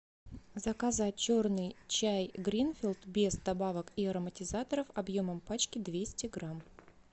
заказать черный чай гринфилд без добавок и ароматизаторов объемом пачки двести грамм